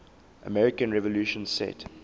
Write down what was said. american revolution set